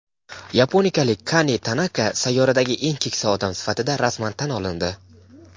Yaponiyalik Kane Tanaka sayyoradagi eng keksa odam sifatida rasman tan olindi.